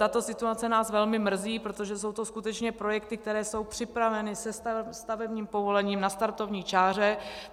Tato situace nás velmi mrzí, protože jsou to skutečně projekty, které jsou připraveny, se stavebním povolením, na startovní čáře.